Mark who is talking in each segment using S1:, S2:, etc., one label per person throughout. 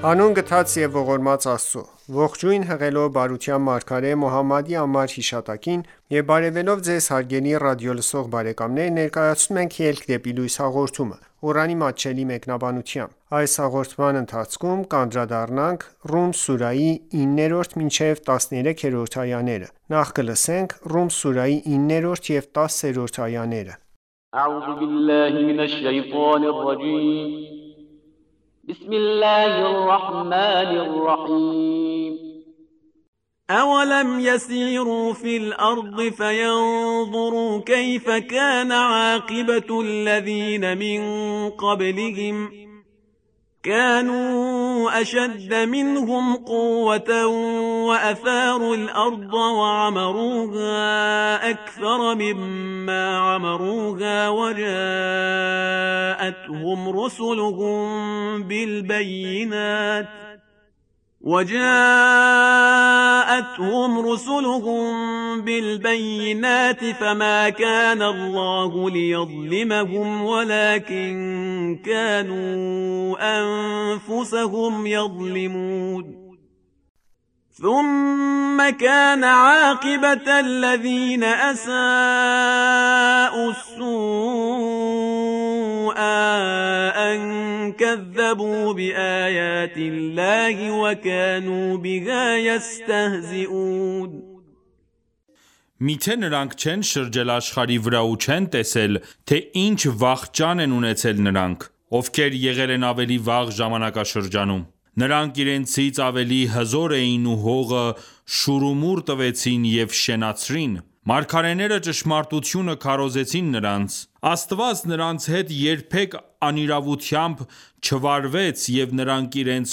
S1: Հանուն գթած և ողորմած Աստծո:Ողջույն հղելով բարության մարգարե Մոհամմադի անմար հիշատակին եւ բարեւելով Ձեզ հարգելի ռադիոլսող բարեկամներ, ներկայացնում ենք «Ելք դեպի լույս» հաղորդումը, Ղուրանի մատչելի մեկնաբանությամբ: Ռում սուրահի 9-րդ և 10-րդ
S2: այաներ
S3: Մի՞թե նրանք չեն շրջել աշխարհի վրա ու չեն տեսել, թե ինչ վախճան են ունեցել նրանք, ովքեր եղել են ավելի վաղ (ժամանակներում): Նրանք իրենցից ավելի հզոր էին ու հողը շուռումուռ տվեցին և շենացրին: Մարգարեները ճշմարտությունը քարոզեցին նրանց: Աստված նրանց հետ երբեք անիրավությամբ չվարվեց, և նրանք իրենց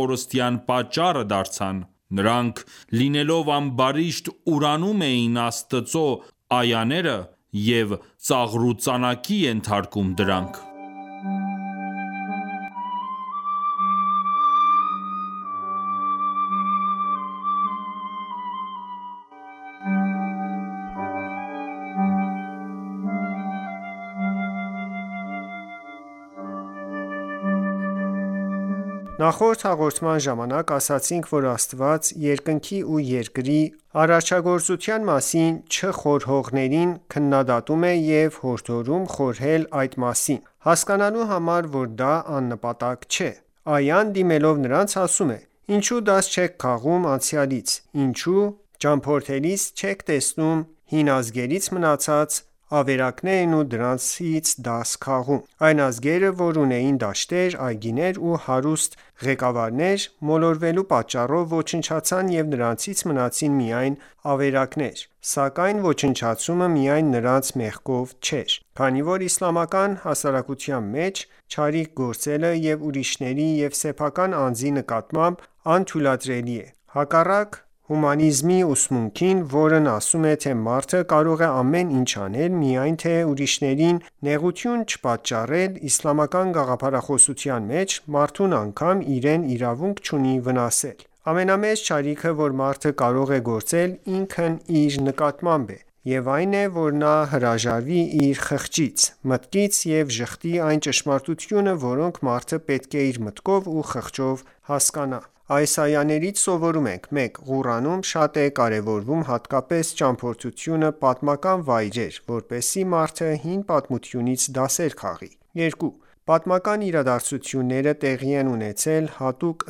S3: կորստյան պատճառը դարձան: Նրանք, լինելով ամբարիշտ, ուրանում էին Աստծու այաները և ծաղրուծանակի ենթարկում դրանք:
S1: Նախորդ հաղորդման ժամանակ ասացինք, որ Աստված երկնքի ու երկրի արաչագործության մասին չխորհողներին քննադատում է և հորդորում խորհել այդ մասին, հասկանալու համար, որ դա աննպատակ չէ: Այան, դիմելով նրանց, ասում է. «Ինչո՞ւ դաս չեք քաղում անցյալից: Ինչո՞ւ ճամփորդելիս չեք տեսնում հին ազգերից մնացած ավերակներն ու դրանից դաս քաղում: Այն ազգերը, որ ունեին դաշտեր, այգիներ ու հարուստ ղեկավարներ, մոլորվելու պատճառով ոչնչացան ու նրանցից մնացին միայն ավերակներ: Սակայն ոչնչացումը միայն նրանց մեղքով էր, քանի որ իսլամական հասարակության մեջ չարիք գործելը և՛ ուրիշների և՛սեփական անձի նկատմամբ, անթույլատրելի է: Հակառակ հումանիզմի ուսմունքին, որն ասում է, թե մարդը կարող է ամեն ինչ անել, միայն թե ուրիշներին նեղություն չպատճառել, իսլամական գաղափարաոսության մեջ, մարդն անգամ իրեն իրավունք չունի վնասել: Ամենամեծ չարիքը, որ մարդը կարող է գործել ինքն իր նկատմամբ, այն է, որ նա հրաժարվի իր խղճից, մտքից և ժխտի այն ճշմարտությունը, որոնք մարդը պետք էր մտքով ու խղճով հասկանա: Այս այաներից սովորում ենք. 1. Ղուրանում շատ է կարևորվում հատկապես ճամփորդությունը պատմական վայրեր, որպեսզի մարդը հին պատմությունից դասեր քաղի: 2. Պատմական իրադարձությունները տեղի են ունեցել հատուկ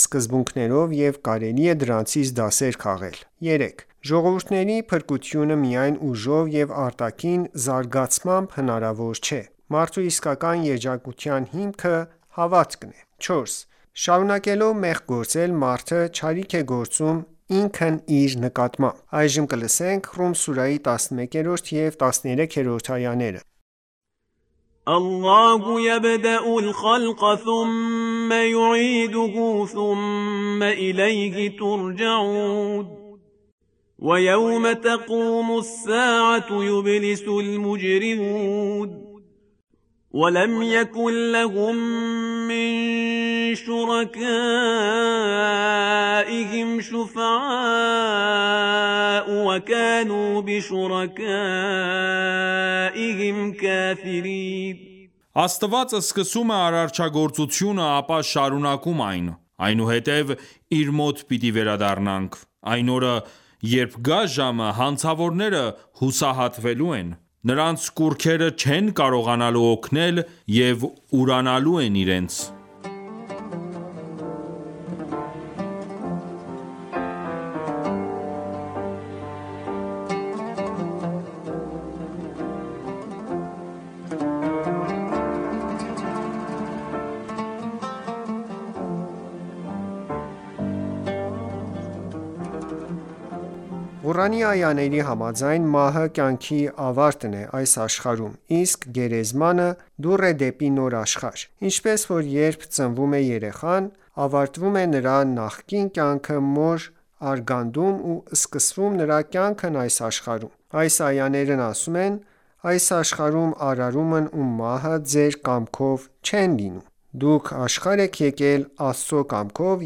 S1: սկզբունքներով և կարելի է դրանցից դասեր քաղել: 3. Ժողովուրդների փրկությունը միայն ուժով և արտաքին զարգացմամբ հնարավոր չէ: Մարդու իսկական երջանկության հիմքը հավատքն է: 4. Շարունակելով մեղք գործել, մարդը չարիք է գործում ինքն իր նկատմամբ: Ռում սուրահի 11-13-րդ այաներ
S2: اللَّهُ یَبْدَأُ الْخَلْقَ ثُمَّ یُعِیدُهُ ثُمَّ إِلَیْهِ تُرْجَعُونَ وَیَوْمَ تَقُومُ السَّاعَةُ یُبْلِسُ الْمُجْرِمُونَ وَلَمْ یَکُنْ لَهُمْ مِنْ شُرَکَائِهِمْ شُفَعَاءُ وَکَانُوا
S3: بِشُرَکَائِهِمْ کَافِرِینَ Աստված սկսում է արարչագործությունը, ապա շարունակում այն: Այնուհետև Իր մոտ պիտի վերադառնաք: Այն օրը, երբ գա ժամը, հանցավորները հուսահատվելու են: Նրանց կուռքերը չեն կարողանալու օգնել և ուրանալու են իրենց:
S1: Ղուրանի այաների համաձայն, մահը կյանքի ավարտն է այս աշխարհում, իսկ գերեզմանը դուռ է դեպի նոր աշխարհ: Ինչպես որ երբ ծնվում է երեխան, ավարտվում է նրա նախկին կյանքը մոր արգանդում ու սկսվում նրա կյանքն այս աշխարհում: Այս այաներն ասում են. «Այս աշխարհում արարումն ու մահը ձեր կամքով չեն լինում: Դուք աշխարհ եք եկել Աստծու կամքով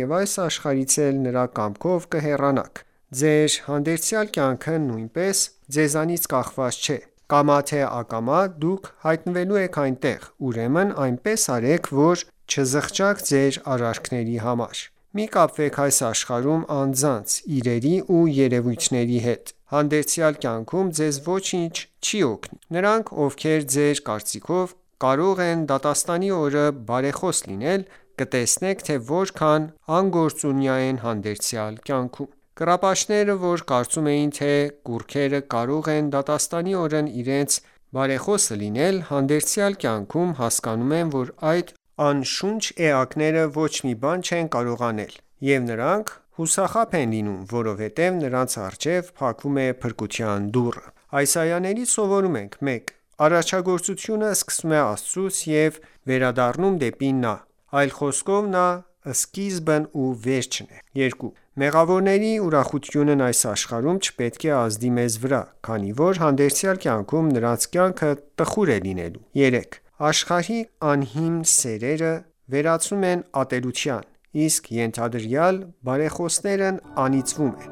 S1: ու այս աշխարհից էլ Նրա կամքով կհեռանաք: Ձեր հանդերձյալ կյանքը նույնպես ձեզանից կախված չէ: Կամա թե ակամա, դուք հայտնվելու եք այնտեղ, ուրեմն այնպես արեք, որ չզղջաք ձեր արարքների համար: Մի կապվեք այս աշխարհում անձանց, իրերի ու երևույթների հետ: Հանդերձյալ կյանքում ձեզ ոչինչ չի օգնի: Նրանք, ովքեր ձեր կարծիքով կարող են դատաստանի օրը բարեխոս լինել, կտեսնեք, թե որքան անգործունյա են հանդերձյալ կյանքում: Կռապաշտները, որ կարծում էին, թե կուռքերը կարող են դատաստանի օրն իրենց բարեխոսը լինել, հանդերձյալ կյանքում հասկանում են, որ այդ անշունչ էկաները ոչ մի բան չեն կարող անել: Եվ նրանք հուսախաբ են լինում, որովհետև նրանց առջև փակվում է փրկության դուռը: Այս այաներից սովորում ենք. 1. Արարչագործությունը սկսվում է Աստծուց և վերադառնում դեպի Նա: Այլ խոսքով, Նա սկիզբն ու վերջն է: 2. Մեղավորների ուրախությունն այս աշխարհում չպետք է ազդի մեզ վրա, քանի որ հանդերձյալ կյանքում նրանց կյանքը տխուր է լինելու: 3 .Աշխարհիկ անհիմն սերերը վերածվում են ատելության: Իսկ ենթադրյալ բարեխոսներն անիծվում են: